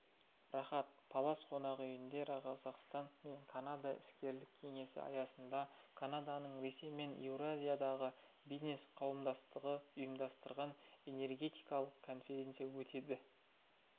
рахат палас қонақ үйінде қазақстан мен канада іскерлік кеңесі аясында канаданың ресей мен еуразиядағы бизнес қауымдастығы ұйымдастырған энергетикалық конференция өтеді